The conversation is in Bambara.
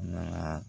Nana